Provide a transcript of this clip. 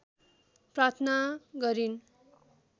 प्रार्थना गरिन्